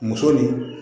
Muso nin